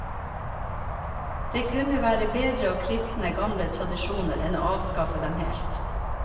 Det kunne være bedre å kristne gamle tradisjoner enn å avskaffe dem helt.